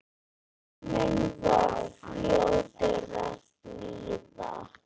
Tíminn var fljótur að líða.